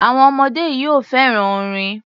Àwọn ọmọdé yìí ò fẹ́ràn orin.